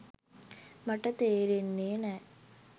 මට තේරෙන්නේ නෑ.